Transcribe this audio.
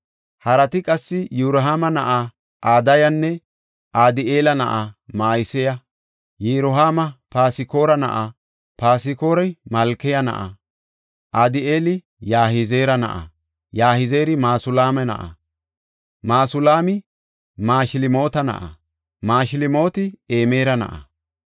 Harati qassi Yirohaama na7aa Adayanne Adi7eela na7aa Ma7iseya. Yirohaami Paskora na7a; Paskori Malkiya na7a. Adi7eeli Yahizeera na7a; Yahizeeri Masulaama na7a; Masulaami Mashilmoota na7a; Mashilmooti Imera na7a.